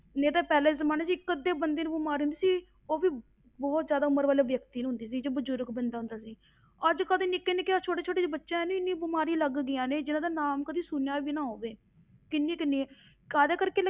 ਨਹੀਂ ਤਾਂ ਪਹਿਲਾਂ ਦੇ ਜ਼ਮਾਨੇ ਵਿੱਚ ਇੱਕ ਅੱਧੇ ਬੰਦੇ ਨੂੰ ਬਿਮਾਰੀ ਹੁੰਦੀ ਸੀ, ਉਹ ਵੀ ਬਹੁਤ ਜ਼ਿਆਦਾ ਉਮਰ ਵਾਲੇ ਵਿਅਕਤੀ ਨੂੰ ਹੁੰਦੀ ਸੀ, ਜੋ ਬਜ਼ੁਰਗ ਬੰਦਾ ਹੁੰਦਾ ਸੀ ਅੱਜ ਕੱਲ੍ਹ ਤੇ ਨਿੱਕੇ ਨਿੱਕਿਆਂ ਛੋਟੇ ਛੋਟੇ ਜਿਹੇ ਬੱਚਿਆਂ ਨੂੰ ਹੀ ਇੰਨੀ ਬਿਮਾਰੀ ਲੱਗ ਗਈਆਂ ਨੇ, ਜਿਹਨਾਂ ਦਾ ਨਾਮ ਕਦੇ ਸੁਣਿਆ ਵੀ ਨਾ ਹੋਵੇ ਕਿੰਨੀ ਕਿੰਨੀਆਂ ਕਾਹਦੇ ਕਰਕੇ